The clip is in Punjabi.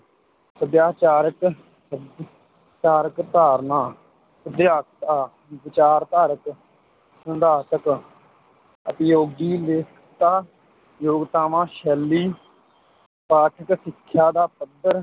ਸਭਿਆਚਾਰਕ ਸਭਿ~ ਚਾਰਕ ਧਾਰਨਾ ਵਿਚਾਰਧਾਰਕ, ਸਿਧਾਂਤਕ, ਉਪਯੋਗੀ, ਲੇਖਕਤਾ, ਯੋਗਤਾਵਾਂ, ਸ਼ੈਲੀ, ਪਾਠਕ ਸਿੱਖਿਆ ਦਾ ਪੱਧਰ,